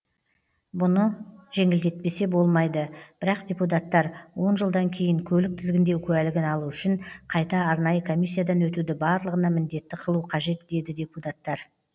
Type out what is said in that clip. бұны жеңілдетпесе болмайды бірақ депутаттар он жылдан кейін көлік тізгіндеу куәлігін алу үшін қайта арнайы комиссиядан өтуді барлығына міндетті қылу қажет деді депутаттар